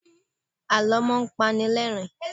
Àlọ́ máa ń panilerin